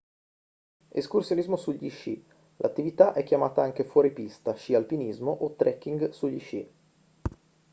escursionismo sugli sci l'attività è chiamata anche fuoripista sci alpinismo o trekking sugli sci